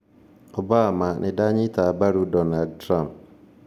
Obama: 'Nĩndanyita mbaru' Donald Trump